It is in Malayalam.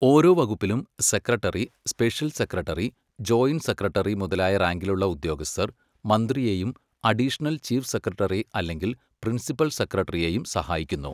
ഓരോ വകുപ്പിലും secretary, special secretary, joint secretary മുതലായ റാങ്കിലുള്ള ഉദ്യോഗസ്ഥർ മന്ത്രിയെയും അഡീഷണൽ ചീഫ് സെക്രട്ടറി അല്ലെങ്കിൽ പ്രിൻസിപ്പൽ സെക്രട്ടറിയെയും സഹായിക്കുന്നു.